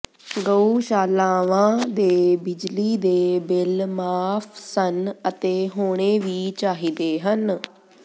ਗਊਸ਼ਾਲਾਵਾਂ ਦੇ ਬਿਜਲੀ ਦੇ ਬਿੱਲ ਮਾਫ਼ ਸਨ ਅਤੇ ਹੋਣੇ ਵੀ ਚਾਹੀਦੇ ਹਨ